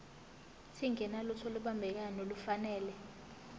singenalutho olubambekayo nolufanele